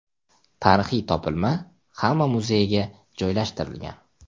Tarixiy topilma Xama muzeyiga joylashtirilgan.